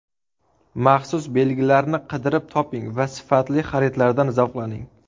Maxsus belgilarni qidirib toping va sifatli xaridlardan zavqlaning.